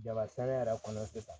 Jaba sɛnɛ yɛrɛ kɔnɔ sisan